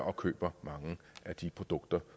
og køber mange af de produkter